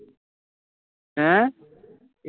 ਹੈਂ